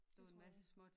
Det tror jeg også